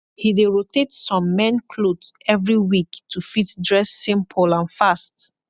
he dey rotate som main kloth evry week to fit dress simpol and fast